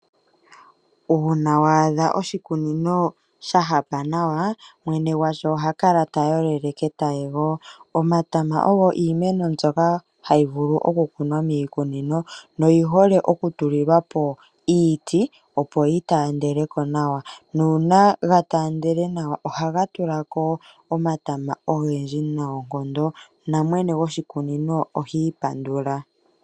Uuna wa adha oshikunino sha hapa nawa, mwene gwasho oha kala ta yolele ketayego. Omatama ogo iimeno mbyono hayi vulu okukunwa miikunino, noyi hole oku tulilwa po iiti opo ga taandele nawa. Nuuna ga taandele nawa ohaga tula ko omatama ogendji nawa, namwene gwoshikunino ohiipandula